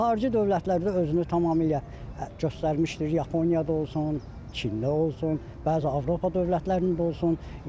Bu xarici dövlətlərdə özünü tamamilə göstərmişdir, Yaponiyada olsun, Çində olsun, bəzi Avropa dövlətlərində də olsun.